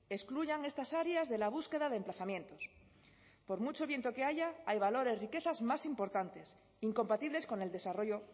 excluyan estas áreas de la búsqueda de emplazamientos por mucho viento que haya hay valores riquezas más importantes incompatibles con el desarrollo